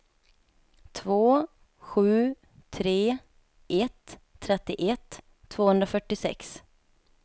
två sju tre ett trettioett tvåhundrafyrtiosex